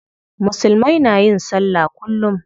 Musulmai na yin sallah kullum.